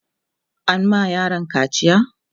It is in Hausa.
an ma yaron kaciya?